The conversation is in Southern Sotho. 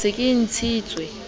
ke se ke le ntshitse